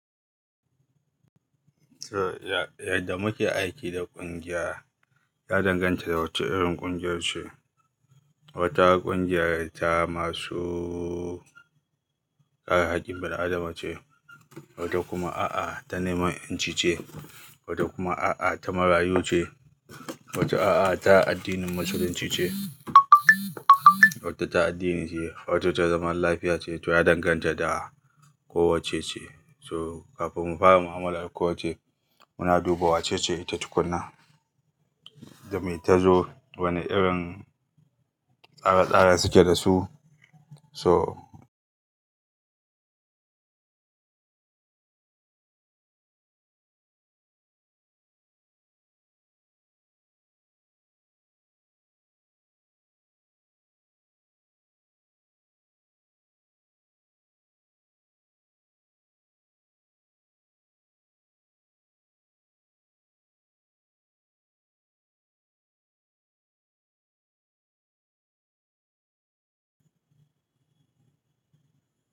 So yadda muke aiki da ƙungiya, ya danganta da wacce irin ƙungiya ce. Wata ƙungiya ta masu ƙare haƙƙin bil- adama ce, wata kuma a'a, ta neman 'yanci ce, wata kuma a'a, ta marayu ce, wata a'a, ta addinin musulunci ce, wata ta addini ce, wata ta zaman lafiya ce, to ya danganta da ko wacce ce. So kafin mu fara mu'amalar da kowacce, muna duba wacce ce ita tukuna, da me ta zo, wane irin tsare-tsare suke da su. So.